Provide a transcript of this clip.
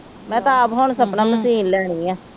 ਮੈਂ ਤਾ ਆਪ ਹੁਣ ਸਪਨਾ ਮਸ਼ੀਨ ਲੈਣੀ ਆ